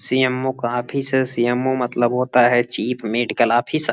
CMO. का office है CMO. का मतलब होता चीफ मेडीकल ऑफिसर ।